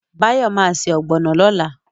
Báyọ̀ ma ṣe ọ̀gbọ̀nọ̀ lọ́la